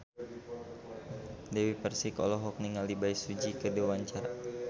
Dewi Persik olohok ningali Bae Su Ji keur diwawancara